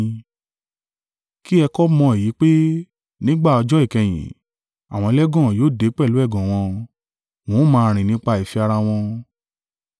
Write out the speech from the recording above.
Kí ẹ kọ́ mọ èyí pé, nígbà ọjọ́ ìkẹyìn, àwọn ẹlẹ́gàn yóò dé pẹ̀lú ẹ̀gàn wọn. Wọn ó máa rìn nípa ìfẹ́ ara wọn.